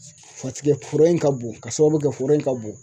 Paseke foro in ka bon ka sababu kɛ foro in ka bon